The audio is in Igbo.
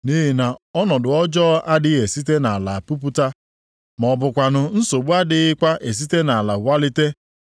Nʼihi na ọnọdụ ọjọọ adịghị esite nʼala pupụta, ma ọ bụkwanụ nsogbu adịghịkwa esite nʼala walite.